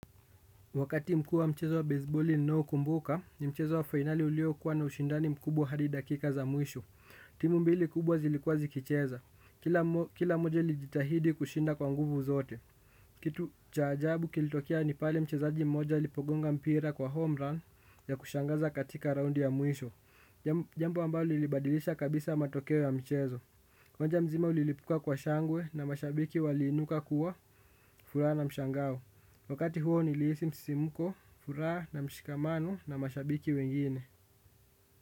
Wakati mkuu wa mchezo wa besiboli ninaokumbuka ni mchezo wa fainali uliokuwa na ushindani mkubwa hadi dakika za mwisho. Timu mbili kubwa zilikuwa zikicheza. Kila mmo kila moja ilijitahidi kushinda kwa nguvu zote. Kitu cha ajabu kilitokea ni pale mchezaji mmoja ilipogonga mpira kwa homerun ya kushangaza katika raundi ya mwisho. Jambo ambalo lilibadilisha kabisa matokeo ya mchezo. Uwanja mzima ulilipuka kwa shangwe na mashabiki waliinuka kwa furaha na mshangao. Wakati huo nilihisi msisimko, furaha na mshikamano na mashabiki wengine.